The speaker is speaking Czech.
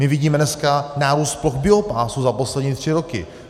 My vidíme dneska nárůst ploch biopásů za poslední tři roky.